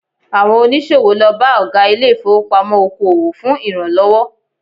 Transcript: Àwọn oníṣòwò lọ bá Ọ̀gá ilé ìfowópamọ́ oko òwò fún ìrànlọ́wọ́